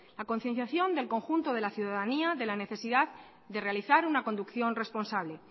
la concienciación del conjunto de la ciudadanía de la necesidad de realizar una conducción responsable